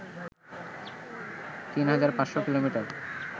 ৩৫০০ kilometre